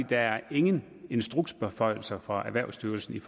der ingen instruksbeføjelser er fra erhvervsstyrelsen